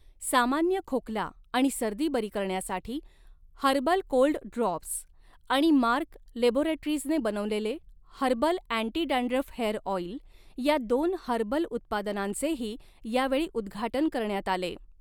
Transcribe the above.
सामान्य खोकला आणि सर्दी बरी करण्यासाठी हर्बल कोल्ड ड्रॉप्स आणि मार्क लॅबोरेटरीजने बनवलेले herbal anti dandruff hair oil या दोन हर्बल उत्पादनांचेही यावेळी उद्घाटन करण्यात आले.